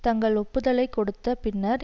தங்கள் ஒப்புதலைக் கொடுத்த பின்னர்